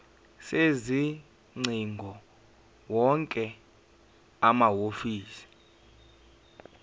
sezingcingo wonke amahhovisi